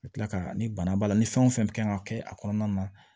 A bɛ tila ka ni bana b'a la ni fɛn o fɛn kan ka kɛ a kɔnɔna na